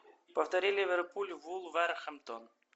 повтори ливерпуль вулверхэмптон